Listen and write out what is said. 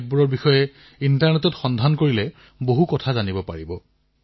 আপোনালোকে এইসমূহৰ বিষয়ে ইণ্টাৰনেটত সন্ধান কৰিব পাৰে